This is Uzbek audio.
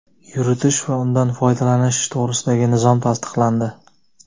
yuritish va undan foydalanish to‘g‘risidagi nizom tasdiqlandi.